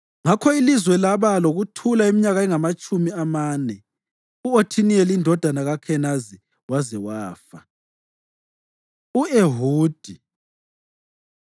Ngakho ilizwe laba lokuthula iminyaka engamatshumi amane, u-Othiniyeli indodana kaKhenazi waze wafa. U-Ehudi